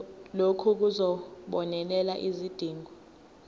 lokhu kuzobonelela izidingo